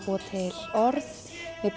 búa til orð